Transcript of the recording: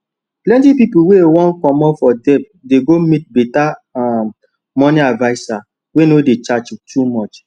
plenty pipo wey wan comot for debt dey go meet better um money adviser wey no dey charge too much